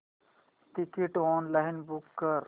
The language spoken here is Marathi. तिकीट ऑनलाइन बुक कर